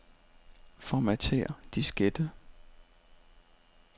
Formatér diskette.